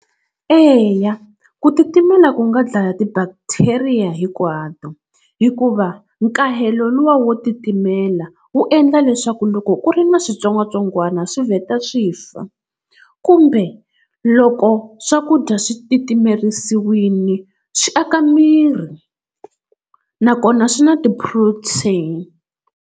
Eya ku titimela ku nga dlaya ti-bacteria hinkwato hikuva nkahelo luwa wo titimela wu endla leswaku loko ku ri na switsongwatsongwani swi vheta swi fa kumbe loko swakudya swi titimerisiwile swi aka miri nakona swi na ti-protein.